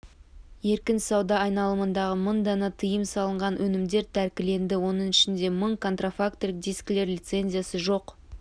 еркін сауда айналымындағы мың дана тыйым салынған өнімдер тәркіленді оның ішінде мың контрафактілік дискілер лицензиясы жоқ